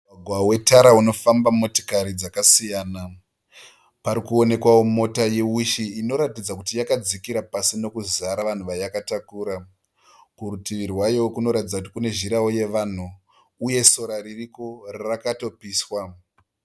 Mugwagwa wetara unofamba motikari dzakasiyana. Pari kuonekwawo mota ye'Wish' inoratidza kuti yakadzikira pasi nokuzara vanhu vayakatakura. Kurutivi rwayo kunoratidza kuti kune zhirawo yevanhu uye sora ririko rakatopiswa.